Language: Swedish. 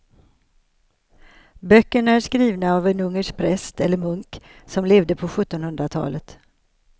Böckerna är skrivna av en ungersk präst eller munk som levde på sjuttonhundratalet.